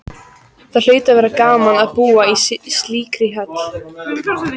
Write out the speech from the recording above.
Það hlaut að vera gaman að búa í slíkri höll.